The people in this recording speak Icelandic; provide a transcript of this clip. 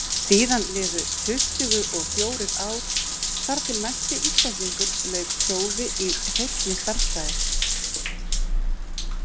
Síðan liðu tuttugu og fjórir ár þar til næsti Íslendingur lauk prófi í hreinni stærðfræði.